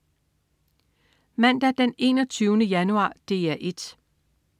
Mandag den 21. januar - DR 1: